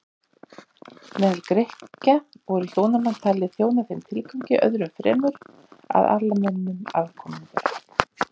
Meðal Grikkja voru hjónabönd talin þjóna þeim tilgangi öðrum fremur að ala mönnum afkomendur.